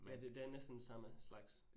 Ja det det er næsten samme slags